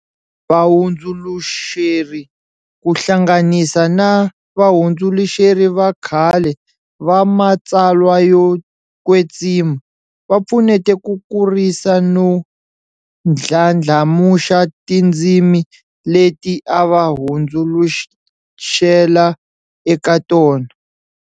Va hundzuluxeri, ku hlanganisa na vahundzuluxeri va khale va matsalwa yo kwetsima, va pfunete ku kurisa no ndlandlamuxa tindzimi leti ava hundzuluxela eka tona.